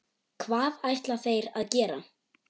Hvað ætla þeir að gera?